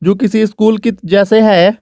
किसी स्कूल की जैसे है।